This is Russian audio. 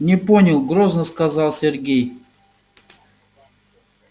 не понял грозно сказал сергей